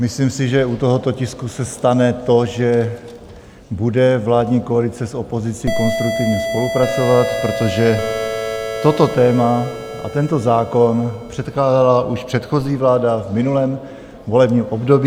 Myslím si, že u tohoto tisku se stane to, že bude vládní koalice s opozicí konstruktivně spolupracovat, protože toto téma a tento zákon předkládala už předchozí vláda v minulém volebním období.